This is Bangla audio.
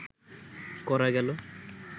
করা গেল